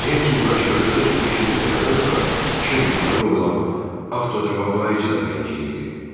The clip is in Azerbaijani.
Ceymsin quraşdırdığı beşinci dəfədən sonra işə düşməli olan avtocavablayıcı da ləngiyirdi.